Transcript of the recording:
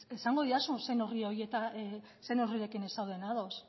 esango didazu zein neurrirekin ez zauden ados